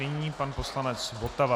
Nyní pan poslanec Votava.